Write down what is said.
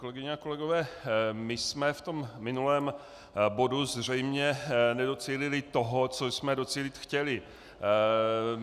Kolegyně a kolegové, my jsme v tom minulém bodu zřejmě nedocílili toho, co jsme docílit chtěli.